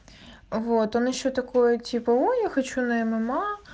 вот он ещё такое типо я хочу на мма